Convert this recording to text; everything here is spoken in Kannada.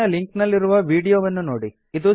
ಕೆಳಗಿನ ಲಿಂಕ್ ನಲ್ಲಿರುವ ವೀಡಿಯೋವನ್ನು ನೋಡಿ